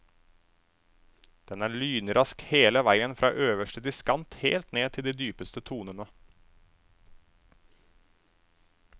Den er lynrask hele veien fra øverste diskant helt ned til de dypeste tonene.